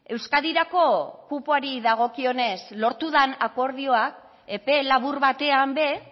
euskadirako kupoari dagokionez lortu den akordioak epe labur batean ere